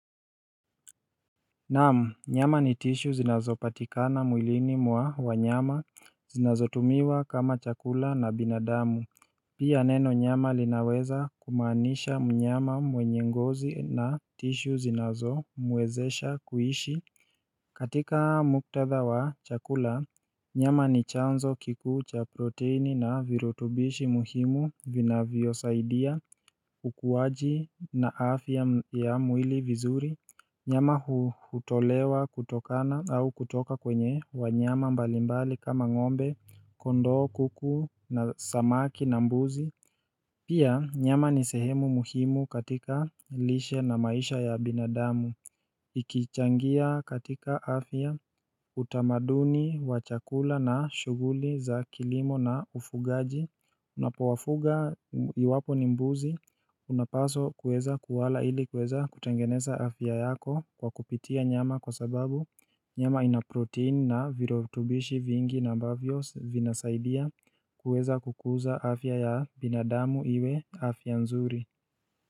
Naam nyama ni tishu zinazopatikana mwilini mwa wanyama zinazotumiwa kama chakula na binadamu Pia neno nyama linaweza kumaanisha mnyama mwenye ngozi na tishu zinazo muwezesha kuishi katika muktatha wa chakula nyama ni chanzo kikuu cha proteini na virutubishi muhimu vinavyosaidia ukuwaji na afya ya mwili vizuri Nyama hutolewa kutokana au kutoka kwenye wanyama mbalimbali kama ng'ombe, kondoo, kuku, samaki na mbuzi Pia nyama ni sehemu muhimu katika lishe na maisha ya binadamu. Ikichangia katika afya utamaduni wa chakula na shuguli za kilimo na ufugaji Unapowafuga iwapo ni mbuzi unapaso kuweza kuwala ili kueza kutengeneza afya yako kwa kupitia nyama kwa sababu nyama ina protein na virotubishi vingi na mbavyo vinasaidia kuweza kukuza afya ya binadamu iwe afya nzuri.